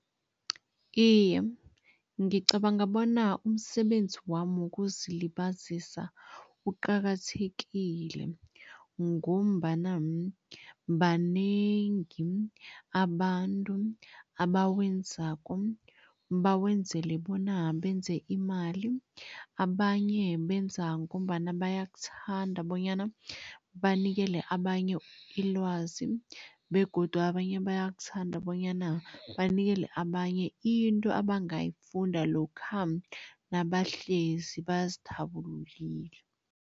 Iye, ngicabanga bona umsebenzi wami wokuzilibazisa uqakathekile ngombana banengi abantu abawenzako, bawenzele bona benze imali, abanye benza ngombana bayakuthanda bonyana banikele abanye ilwazi begodu abanye bayakuthanda bonyana banikele abanye into abangayifunda lokha nabahlezi bazithabulukile.